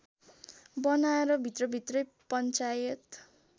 बनाएर भित्रभित्रै पञ्चायत